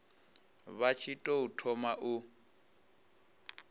vha tshi tou thoma u